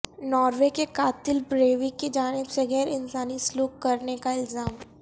Norway کے قاتلبریویک کی جانب سے غیر انسانی سلوک کرنے کا الزام